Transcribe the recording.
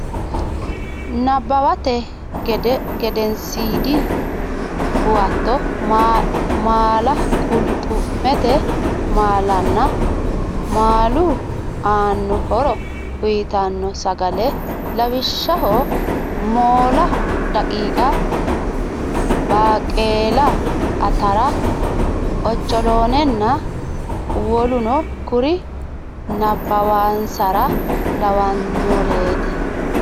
Nabbawate Gedensiidi Huwato maala qulxu mete maalanna maalu aanno horo uytanno sagale lawishshaho moola daqiiqa baaqeela atara ocholoonenna woluno kuri nabbawansara lawannoreeti.